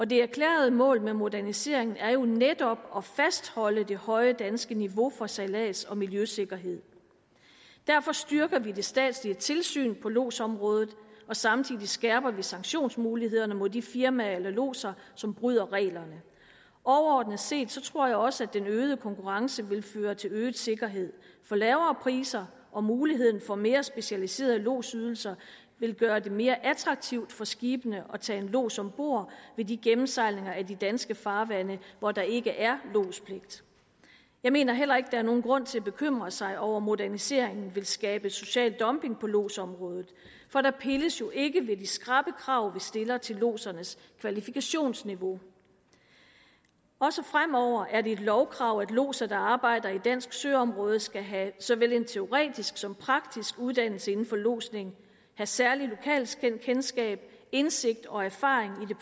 det erklærede mål med moderniseringen er jo netop at fastholde det høje danske niveau for sejlads og miljøsikkerhed derfor styrker vi det statslige tilsyn på lodsområdet og samtidig skærper vi sanktionsmulighederne mod de firmaer eller lodser som bryder reglerne overordnet set tror jeg også at den øgede konkurrence vil føre til øget sikkerhed for lavere priser og muligheden for mere specialiserede lodsydelser vil gøre det mere attraktivt for skibene at tage en lods ombord ved de gennemsejlinger af danske farvande hvor der ikke er lodspligt jeg mener heller ikke er nogen grund til at bekymre sig over at moderniseringen vil skabe social dumping på lodsområdet for der pilles jo ikke ved de skrappe krav vi stiller til lodsernes kvalifikationsniveau også fremover er det et lovkrav at lodser der arbejder i dansk søområde skal have såvel en teoretisk som en praktisk uddannelse inden for lodsning have særligt lokalkendskab indsigt og erfaring i det